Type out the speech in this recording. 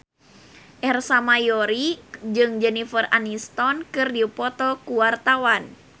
Ersa Mayori jeung Jennifer Aniston keur dipoto ku wartawan